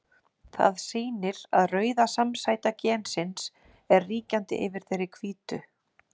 Það sýnir að rauða samsæta gensins er ríkjandi yfir þeirri hvítu.